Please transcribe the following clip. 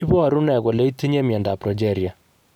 Iporu ne kole itinye miondap Progeria?